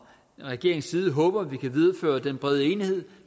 regeringens side håber at vi kan videreføre den brede enighed